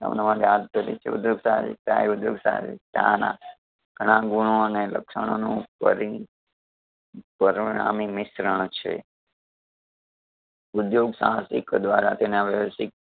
અવનવા સાહસિકતા એ ઉધ્યોગ સહસિકતા ના ઘણા ગુણો અને લક્ષણો નું પરી પરિણામી મિશ્રણ છે. ઉધ્યોગ સાહસિક દ્વારા તેના વ્યવસિક